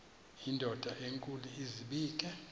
indod enkulu izibeke